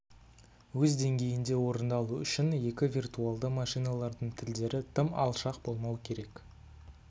өз деңгейінде орындалу үшін екі виртуалды машиналардың тілдері тым алшақ болмауы керек